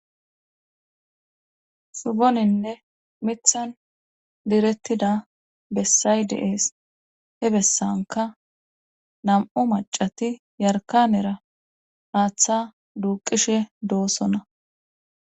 suboninne mithan direttida bessay deees. he bessanka nam"u macati yarkanera aaththa duuqishe doosonna.